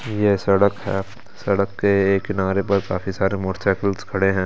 ये सड़क है सड़क के एक किनारे पर काफी सारे मोटरसाइकिल्स खड़े हैं।